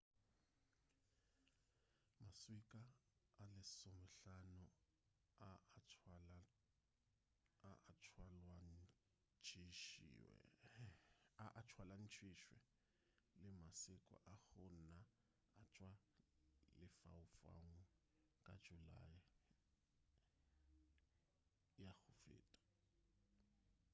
maswika a lesomehlano a a tšwalwantšhitšwe le maswika a go na a tšwa lefaufaung ka julae ya go feta